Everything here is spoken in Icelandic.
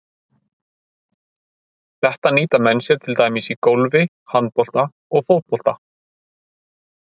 Þetta nýta menn sér til dæmis í golfi, handbolta og fótbolta.